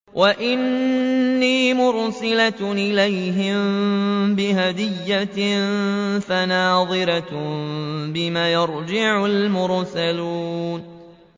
وَإِنِّي مُرْسِلَةٌ إِلَيْهِم بِهَدِيَّةٍ فَنَاظِرَةٌ بِمَ يَرْجِعُ الْمُرْسَلُونَ